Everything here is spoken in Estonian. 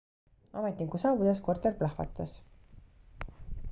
ametniku saabudes korter plahvatas